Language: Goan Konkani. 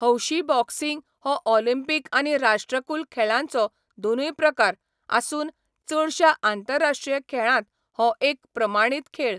हौशी बॉक्सिंग हो ऑलिंपिक आनी राष्ट्रकुल खेळांचो दोनूय प्रकार आसून चडशा आंतरराश्ट्रीय खेळांत हो एक प्रमाणीत खेळ.